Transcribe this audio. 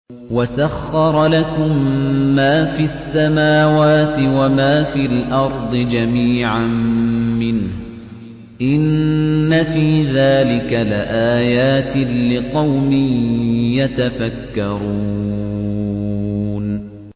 وَسَخَّرَ لَكُم مَّا فِي السَّمَاوَاتِ وَمَا فِي الْأَرْضِ جَمِيعًا مِّنْهُ ۚ إِنَّ فِي ذَٰلِكَ لَآيَاتٍ لِّقَوْمٍ يَتَفَكَّرُونَ